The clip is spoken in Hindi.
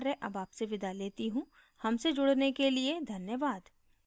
हमसे जुड़ने के लिए धन्यवाद